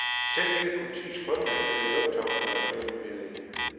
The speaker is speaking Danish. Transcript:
Selv ikke politiets frømænd ved lufthavnen var der flere nyheder i.